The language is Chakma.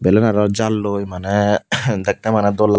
belan aro jalloi maney dekte mane dol.